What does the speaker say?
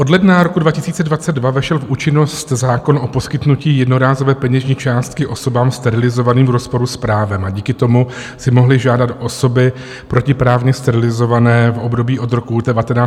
Od ledna roku 2022 vešel v účinnost zákon o poskytnutí jednorázové peněžní částky osobám sterilizovaným v rozporu s právem a díky tomu si mohly žádat osoby protiprávně sterilizované v období od roku 1966 do roku 2012 o odškodnění.